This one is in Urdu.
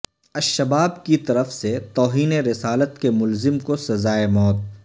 الشباب کی طرف سے توہین رسالت کے ملزم کو سزائے موت